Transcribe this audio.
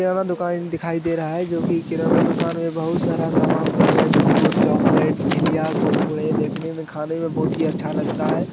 यहाँ पर दुकान दिखाई दे रहा है जो की किराना दुकान है बहुत सारा सामान सब है बिस्कुट चॉकलेट झीलिया कुरकुरे देखने मे खाने मे बहुत ही अच्छा लगता है।